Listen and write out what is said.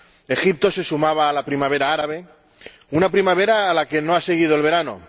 Egipto se sumaba a la primavera árabe, una primavera a la que no ha seguido el verano.